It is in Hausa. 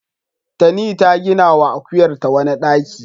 Tani ta ginawa akuyarta wani ɗaki.